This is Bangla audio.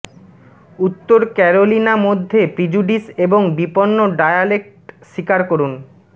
উত্তর ক্যারোলিনা মধ্যে প্রিজুডিস এবং বিপন্ন ডায়ালেক্ট স্বীকার করুন